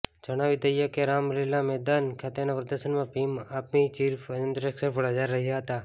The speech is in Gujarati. જણાવી દઈએ કે રામલીલા મેદાન ખાતેના પ્રદર્શનમાં ભીમ આર્મી ચીફ ચંદ્રશેખર પણ હાજર હતા